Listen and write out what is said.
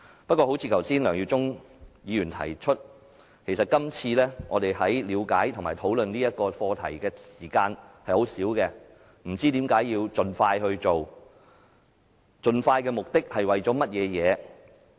不過，正如梁耀忠議員剛才提到，其實今次我們在了解和討論本課題的時間很少，而且不知為何要盡快進行，究竟盡快的目的是為了甚麼？